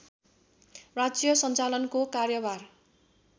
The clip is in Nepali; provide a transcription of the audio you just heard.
राज्य सञ्चालनको कार्यभार